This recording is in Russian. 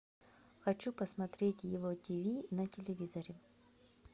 хочу посмотреть его тиви на телевизоре